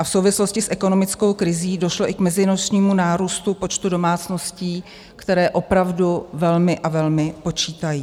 A v souvislosti s ekonomickou krizí došlo i k meziročnímu nárůstu počtu domácností, které opravdu velmi a velmi počítají.